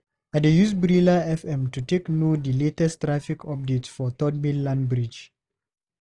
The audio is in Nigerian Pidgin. I dey use Brila FM to take know di latest traffic updates for Third Mainland Bridge.